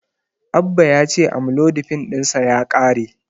Abba ya ce Amlodipin ɗinsa ya ƙare.